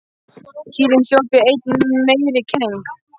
Kýrin hljóp í enn meiri keng.